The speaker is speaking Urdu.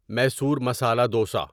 میصور مسالا دوسا